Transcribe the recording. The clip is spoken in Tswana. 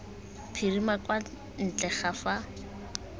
phirima kwa ntle ga fa